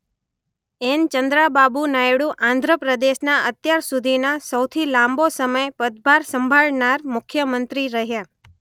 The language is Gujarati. એન.ચંદ્રાબાબુ નાયડુ આંધ્ર પ્રદેશના અત્યાર સુધીના સૌથી લાંબો સમય પદભાર સંભાળનાર મુખ્યમંત્રી રહ્યા.